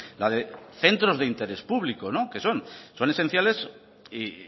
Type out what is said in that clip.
la de centros de interés público que son son esenciales y